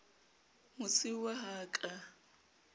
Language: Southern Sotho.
mosiuwa ha a ka a